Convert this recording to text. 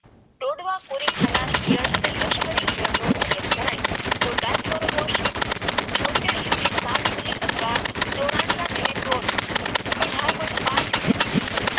તોડવા પુરી ખાનાર ઇયળ અને લશ્કરી ઈયર નો ઉતરે જણાય તો ડાઈક્લોર ઈસી સાત મીડિયા થવા અઢાર પોઈન્ટ પાંચ